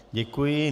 Děkuji.